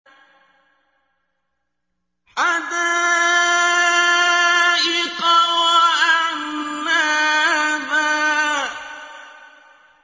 حَدَائِقَ وَأَعْنَابًا